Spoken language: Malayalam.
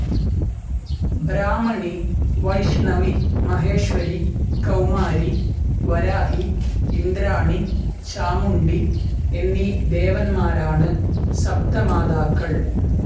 ബ്രാഹ്മണി, വൈഷ്ണവി, മഹേശ്വരി, കൌമാരി, വരാഹി, ഇന്ദ്രാണി, ചാമുണ്ഡി എന്നീ ദേവന്മാരാണ് സപ്തമാതാക്കൾ..